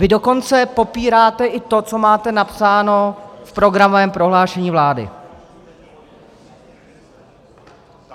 Vy dokonce popíráte i to, co máte napsáno v programovém prohlášení vlády...